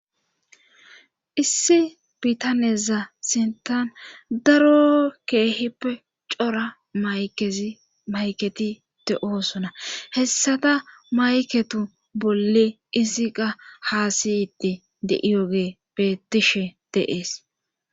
Issi biitaneza sintan daro keehippe cora mayezi mayketi te oosona hessata mayketu bolle isiqa haasiyitti deiyoge bettishe deees.